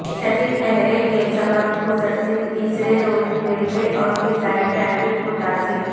شدید کہرے کے سبب مسلسل تیسرے روز ریلوے اور فضائی ٹریفک متاثر